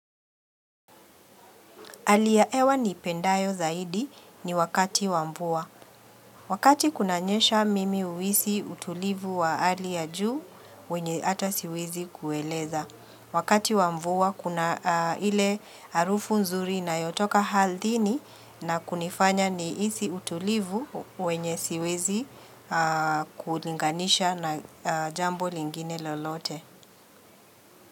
Ali ya ewa niipendayo zaidi ni wakati wa mvua. Wakati kunanyesha mimi uhisi utulivu wa ali ya juu wenye ata siwezi kueleza. Wakati wa mvua kuna ile harufu nzuri inayotoka halthini na kunifanya niisi utulivu wenye siwezi kulinganisha na jambo lingine lolote.